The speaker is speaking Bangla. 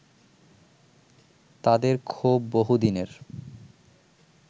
তাদের ক্ষোভ বহুদিনের